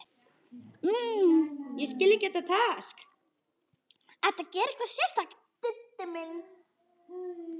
Ertu að gera eitthvað sérstakt, Diddi minn.